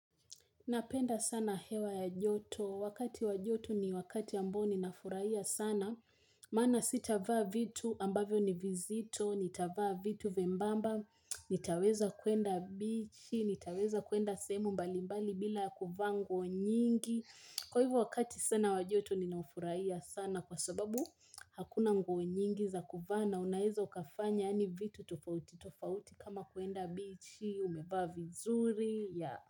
Napenda sana hewa ya joto. Wakati wa joto ni wakati ambayo ninafurahia sana. Maana sitavaa vitu ambavyo ni vizito, nitavaa vitu vyembamba, nitaweza kuenda bichi, nitaweza kuenda sehemu mbalimbali bila kuvaa nguo nyingi. Kwa hivyo wakati sana wa joto ninaafurahia sana kwa sababu hakuna nguo nyingi za kuvaa, na unaweza ukafanya yaani vitu tofauti, tofauti kama kuenda bichi, umevaa vizuri.